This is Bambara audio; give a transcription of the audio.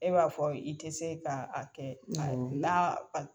E b'a fɔ i tɛ se k'a kɛ na